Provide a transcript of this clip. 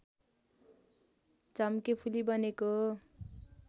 झम्केफुली बनेको हो